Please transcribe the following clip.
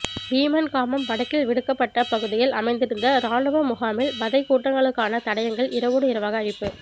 வீமன்காமம் வடக்கில் விடுவிக்கப்பட்ட பகுதியில் அமைந்திருந்த இராணுவ முகாமில் வதை கூடங்களுக்கான தடயங்கள் இரவோடு இரவாக அழிப்பு